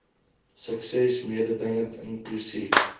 sukses mededingend inklusief